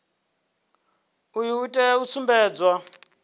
uyu u tea u sumbedza